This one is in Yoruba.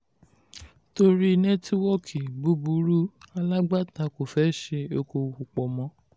torí nẹ́tíwọ́ọ̀kì búburú alágbàtà kò fẹ́ ṣe okoòwò pọ̀ mọ́.